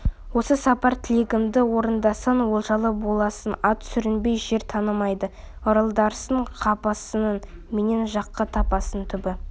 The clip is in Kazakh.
осы сапар тілегімді орындасаң олжалы боласың ат сүрінбей жер танымайды ырылдарсың қаппассың менен жақсы таппассың түбі